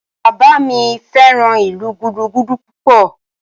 Bàbá mi fẹ́ràn ìlú Gúdúgúdú púpọ̀